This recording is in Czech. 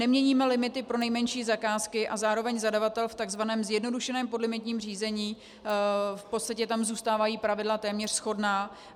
Neměníme limity pro nejmenší zakázky a zároveň zadavatel v tzv. zjednodušeném podlimitním řízení, v podstatě tam zůstávají pravidla téměř shodná.